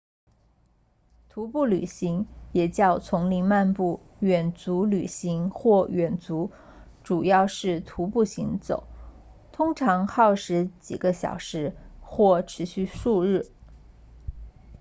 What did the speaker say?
徒步旅行也叫丛林漫步远足旅行或远足主要是徒步行走通常耗时几个小时或持续数日